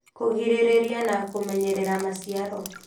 Kũgirĩrĩria na kũmenyerera maciaro